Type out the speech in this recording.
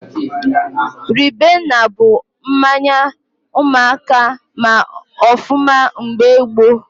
Ribena bụ mmanya ụmụaka ma ọfụma mgbe gboo